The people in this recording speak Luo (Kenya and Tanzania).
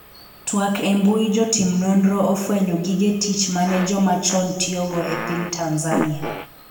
twak embui jotim nonro ofwenyo gige tich mane joma chon tiyogo e piny Tanzania